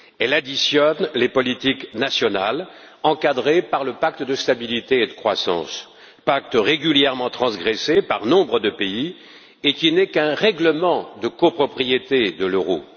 Elle additionne les politiques nationales, encadrées par le pacte de stabilité et de croissance, pacte régulièrement transgressé par nombre de pays et qui n'est qu'un règlement de copropriété de l'euro.